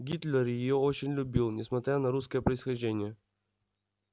гитлер её очень любил несмотря на русское происхождение